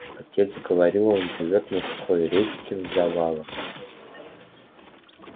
отец говорил он живёт на сухой речке в завалах